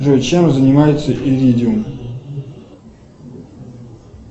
джой чем занимается иридиум